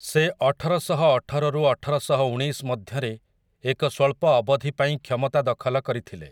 ସେ ଅଠରଶହଅଠର ରୁ ଅଠରଶହଉଣେଇଶ ମଧ୍ୟରେ ଏକ ସ୍ୱଳ୍ପ ଅବଧି ପାଇଁ କ୍ଷମତା ଦଖଲ କରିଥିଲେ ।